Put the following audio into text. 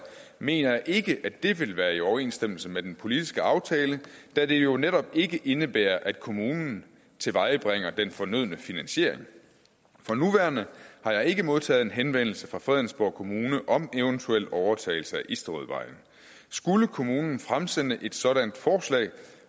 mener jeg ikke at det vil være i overensstemmelse med den politiske aftale da det jo netop ikke indebærer at kommunen tilvejebringer den fornødne finansiering for nuværende har jeg ikke modtaget en henvendelse fra fredensborg kommune om eventuel overtagelse af isterødvej skulle kommunen fremsende et sådant forslag